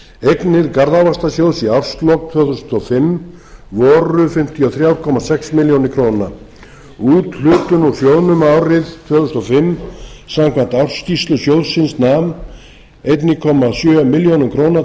eignir garðávaxtasjóðs í árslok tvö þúsund og fimm voru fimmtíu og þrjú komma sex milljónir króna úthlutun úr sjóðnum árið tvö þúsund og fimm samkvæmt ársskýrslu sjóðsins nam einn komma sjö milljónir króna